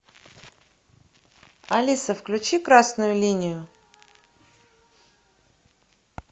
алиса включи красную линию